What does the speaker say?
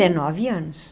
Dezenove anos.